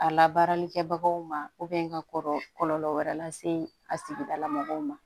A labaarali kɛbagaw ma ka kɔrɔ kɔlɔlɔ wɛrɛ lase a sigidala mɔgɔw ma